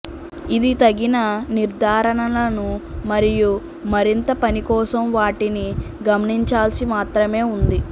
ఇది తగిన నిర్ధారణలను మరియు మరింత పని కోసం వాటిని గమనించాల్సి మాత్రమే ఉంది